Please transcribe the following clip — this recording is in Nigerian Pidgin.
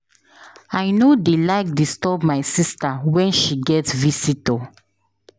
I no dey like disturb my sista wen she get visitor.